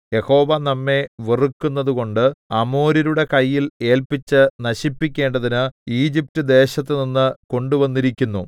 യഹോവ നമ്മെ വെറുക്കുന്നതുകൊണ്ട് അമോര്യരുടെ കയ്യിൽ ഏല്പിച്ച് നശിപ്പിക്കേണ്ടതിന് ഈജിപ്റ്റ്ദേശത്തുനിന്ന് കൊണ്ടുവന്നിരിക്കുന്നു